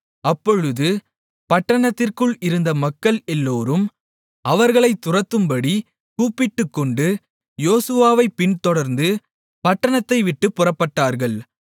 அப்பொழுது பட்டணத்திற்குள் இருந்த மக்கள் எல்லோரும் அவர்களைத் துரத்தும்படி கூப்பிட்டுக்கொண்டு யோசுவாவைப் பின்தொடர்ந்து பட்டணத்தை விட்டுப் புறப்பட்டார்கள்